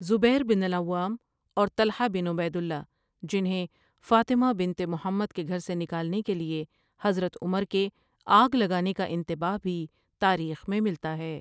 زبیر بن العوام اور طلحہ بن عبید اللہ جنہیں فاطمہ بنت محمد کے گھر سے نکالنے کے لیے حضرت عمر کے آگ لگانے کا انتباہ بھی تاریخ میں ملتا ہے ۔